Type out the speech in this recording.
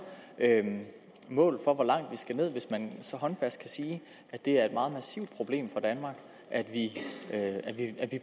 mål for hvor langt vi skal ned hvis man så håndfast kan sige at det er et meget massivt problem for danmark at vi